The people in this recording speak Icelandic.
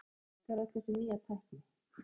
En hvernig virkar öll þessi nýja tækni?